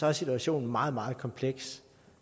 er situationen meget meget kompleks